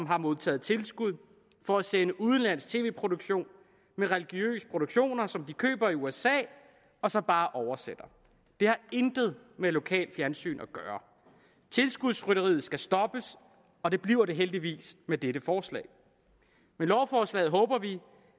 har modtaget tilskud for at sende udenlandsk tv produktion med religiøse produktioner som de køber i usa og så bare oversætter det har intet med lokalt fjernsyn at gøre tilskudsrytteriet skal stoppes og det bliver det heldigvis med dette forslag med lovforslaget håber vi